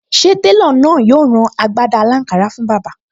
Ṣé télọ̀ náà yóò rán agbádá aláǹkárá fún bàbá?